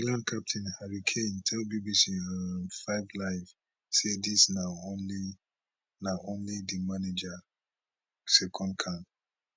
england captain harry kane tell bbc um 5 live say dis na only na only di manager second camp